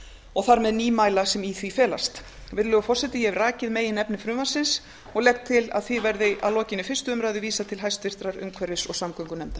og þar með nýmæla sem í því felast virðulegur forseti ég hef rakið meginefni frumvarpsins og legg til að frumvarpinu verði að lokinni fyrstu umræðu vísað til háttvirtrar umhverfis og samgöngunefndar